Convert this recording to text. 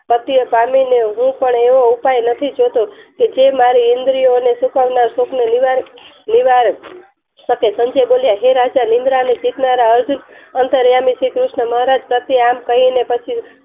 પાટીય પામી ને હું પણ એવો ઉપાય નથી જોતો કે મારી ઈન્દ્રીઓને શુકાવનાર સુકને નિવારી શકે સંજય બોલ્યા હે રાજા નિદ્રાની શીખનાર અર્જુન અંતર્યામી શ્રી કૃષ્ણ મહારાજ પ્રતિ આમ કહી ને પછી